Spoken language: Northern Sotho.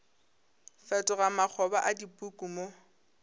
fetoga makgoba a dipuku mo